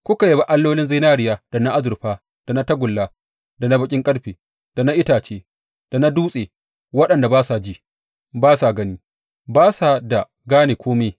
Kuka yabi allolin zinariya da na azurfa, da na tagulla, da na baƙin ƙarfe, da na itace, da na dutse waɗanda ba sa ji, ba sa gani, ba sa da gane kome.